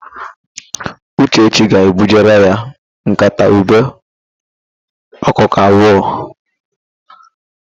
Uchechi ga-ebujere ya nkata ube okpoko abụọ.